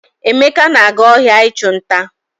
Emeka na-aga ohia ichu nta.